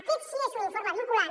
aquest sí que és un informe vinculant